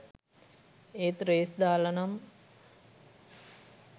ඒත් රේස් දාලා නම්